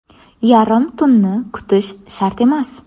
Yarim tunni kutish shart emas.